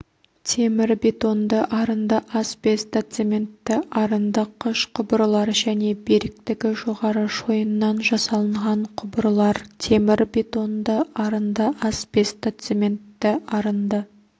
темірбетонды арынды асбестоцементті арынды қыш құбырлар және беріктігі жоғары шойыннан жасалынған құбырлар темірбетонды арынды асбестоцементті арынды